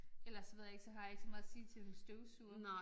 Ellers så ved jeg ikke så har jeg ikke så meget at sige til en støvsuger